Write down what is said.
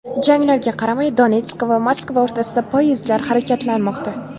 Janglarga qaramay, Donetsk va Moskva o‘rtasida poyezdlar harakatlanmoqda.